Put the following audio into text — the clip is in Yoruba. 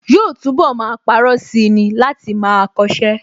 Yóò túnbọ̀ máa parọ́ sí i ni láti máa kọṣẹ́